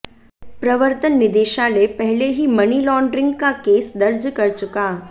प्रवर्तन निदेशालय पहले ही मनी लॉन्ड्रिंग का केस दर्ज कर चुका